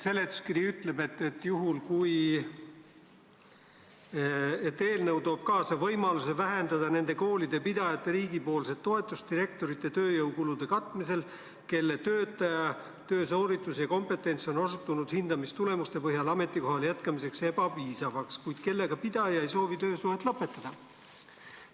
Seletuskiri ütleb, et eelnõu toob kaasa võimaluse vähendada nende koolide pidajate riigipoolset toetust direktorite tööjõukulude katmisel, kelle töötaja töösooritus ja kompetents on osutunud hindamistulemuste põhjal ametikohal jätkamisel ebapiisavaks, kuid kellega pidaja ei soovi töösuhet lõpetada.